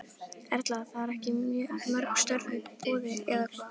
Erla: Það eru ekki mörg störf í boði eða hvað?